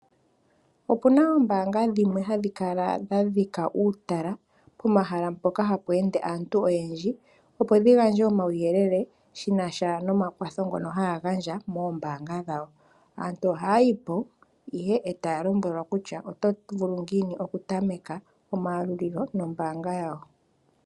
Opu na oombanga dhimwe hadhi kala dha dhika uutala pomahala mpoka ha pweende aantu oyendji opo dhi gandje omauyelele shi na sha nomakwatho ngoka haya gandjwa moombanga dhawo. Aantu ohaya yi po ihe e taya lombwelwa kutya oto vulu ngiini okutameka omayalulilo nombanga yawo.